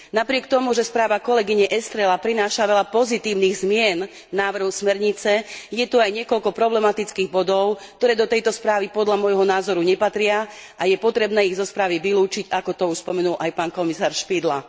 Napriek tomu, že správa pani kolegyne Estrelovej prináša veľa pozitívnych zmien v návrhu smernice, je tu aj niekoľko problematických bodov, ktoré do tejto správy podľa môjho názoru nepatria a je potrebné ich zo správy vylúčiť, ako to už spomenul aj pán komisár Špidla.